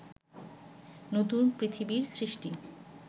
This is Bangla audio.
নতুন পৃথিবীর সৃষ্টি